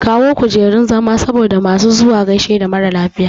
Samo kujurun zama saboda masu zuwa gaishe da maralafiya